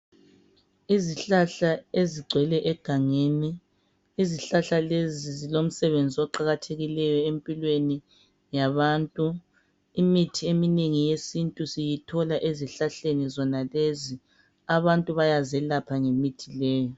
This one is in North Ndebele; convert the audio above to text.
Izihlahla ezigcwele egangeni. Izihlahla lezi zilomsebenzi oqakathekileyo empilweni yabantu. Imithi eminengi yesintu siyithola ezihlahleni zonalezi, abantu bayazelapha ngemithi leyi.